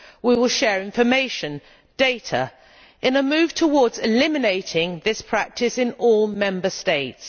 We will share information and data in a move towards eliminating this practice in all Member States.